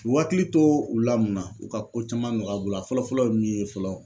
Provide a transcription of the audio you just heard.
U hakili to u la munna ? U ka ko caman nɔgɔya u bolo, a fɔlɔ fɔlɔ ye min ye fɔlɔ